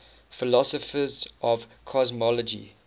philosophers of cosmology